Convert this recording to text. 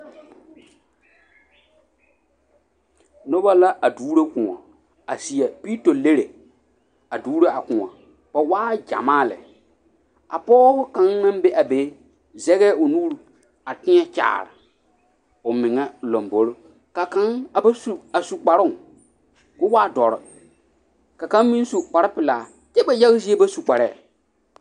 Noba la a doŋro koɔ a sie peeto lere a doŋro a koɔ ba waa gymaa lɛ a pɔge kang naŋ be a be sege o nuri a teɛ kyaare o mɛŋe lamboroŋ ka kang a ba su kpare k'o waa doɔre ka kang meŋ su kpare pilaa kyɛ ba yage zie ba su kpare.